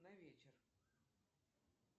на вечер